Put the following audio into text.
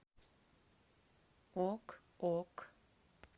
ок ок